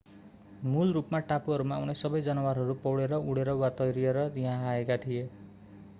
मूल रूपमा टापुहरूमा आउने सबै जनावरहरू पौडेर उँडेर वा तैरिएर यहाँ आएका थिए